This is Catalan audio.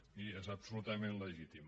però miri és absolutament legítim